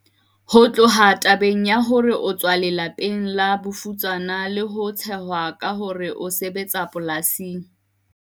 Ho tloha tabeng ya hore o tswa lela peng la bofutsana le ho tshehwa ka hore o sebetsa polasing,